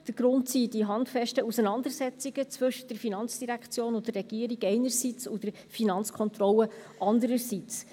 Der Grund sind die handfesten Auseinandersetzungen zwischen der FIN und der Regierung einerseits und der FK andererseits.